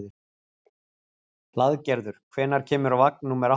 Hlaðgerður, hvenær kemur vagn númer átta?